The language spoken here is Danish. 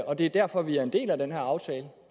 og det er derfor vi er en del af den her aftale